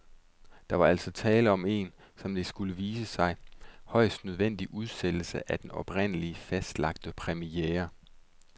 Der var altså tale om en, som det skulle vise sig, højst nødvendig udsættelse af den oprindeligt fastlagte premiere.